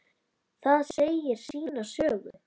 Það segir sína sögu.